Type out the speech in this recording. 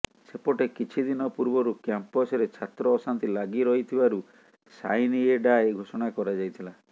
ସେପଟେ କିଛିଦିନ ପୂର୍ବରୁ କ୍ୟାମ୍ପସରେ ଛାତ୍ର ଅଶାନ୍ତି ଲାଗିରହିଥିବାରୁ ସାଇନ ଏ ଡାଏ ଘୋଷଣା କରାଯାଇଥିଲା